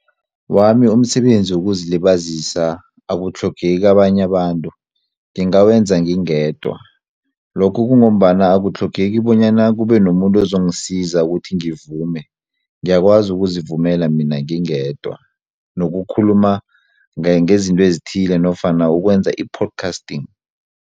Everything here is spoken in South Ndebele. Wami umsebenzi wokuzilibazisa akutlhogeki abanye abantu ngingawenza ngingedwa lokhu kungombana akutlhogeki bonyana kube nomuntu ozongisiza ukuthi ngivume ngiyakwazi ukuzivumela mina ngingedwa nokukhuluma ngezinto ezithile nofana ukwenza i- podcasting.